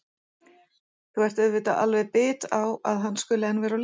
Þú ert auðvitað alveg bit á að hann skuli enn vera til.